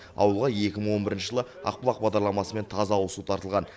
ауылға екі мың он екінші жылы ақбұлақ бағдарламасымен таза ауызсу тартылған